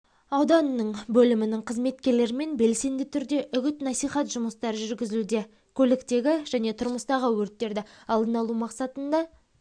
ауданының бөлімінің қызметкерлерімен белсенді түрде үгіт-насихат жұмыстары жүргізілуде көліктегі және тұрмыстағы өрттерді алдын алу мақсатында